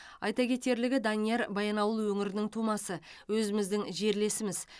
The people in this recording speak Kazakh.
айта кетерлігі данияр баянауыл өңірінің тумасы өзіміздің жерлесіміз